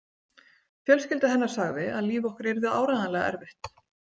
Fjölskylda hennar sagði að líf okkar yrði áreiðanlega erfitt.